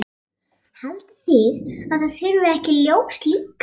Haldið þið að það þurfi ekki ljós líka?